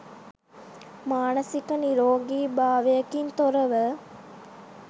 මානසික නිරෝගී භාවයකින් තොරව